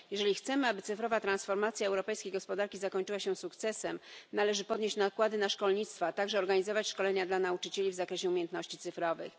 Jeżeli chcemy, aby cyfrowa transformacja europejskiej gospodarki zakończyła się sukcesem, należy podnieść nakłady na szkolnictwo, a także organizować szkolenia dla nauczycieli w zakresie umiejętności cyfrowych.